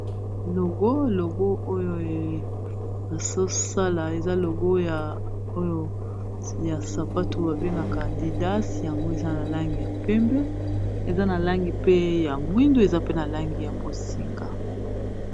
logo logo oyo basosala eza logo oyo ya sapato babengaka didate yango eza na langi ya pembe eza na langi pe ya mwindu eza pe na langi ya bosinga